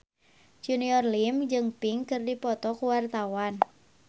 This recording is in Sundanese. Junior Liem jeung Pink keur dipoto ku wartawan